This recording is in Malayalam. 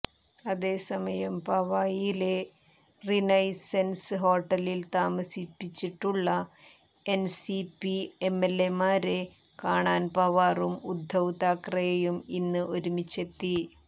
അതേസമയം പവായിലെ റിനൈസൻസ് ഹോട്ടലിൽ താമസിപ്പിച്ചിട്ടുള്ള എൻസിപി എംഎൽഎമാരെ കാണാൻ പവാറും ഉദ്ദവ് താക്കറെയും ഇന്ന് ഒരുമിച്ചെത്തി